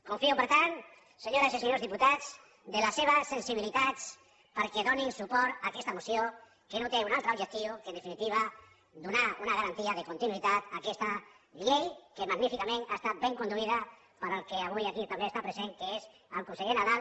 confio per tant senyores i senyors diputats en les seves sensibilitats perquè donin suport a aquesta moció que no té un altre objectiu que en definitiva donar una garantia de continuïtat a aquesta llei que magníficament ha estat ben conduïda pel que avui aquí també està present que és el conseller nadal